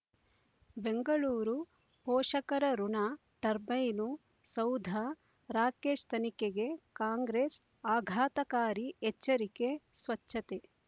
ಬೆಂಗಳೂರು ಪೋಷಕರಋಣ ಟರ್ಬೈನು ಸೌಧ ರಾಕೇಶ್ ತನಿಖೆಗೆ ಕಾಂಗ್ರೆಸ್ ಆಘಾತಕಾರಿ ಎಚ್ಚರಿಕೆ ಸ್ವಚ್ಛತೆ